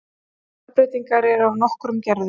stökkbreytingar eru af nokkrum gerðum